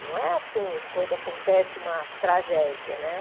Não é assim quando acontece uma tragédia, né?